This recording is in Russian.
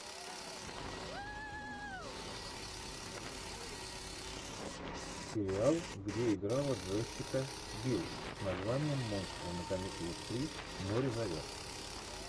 сериал где играла джессика бил с названием монстры на каникулах три море зовет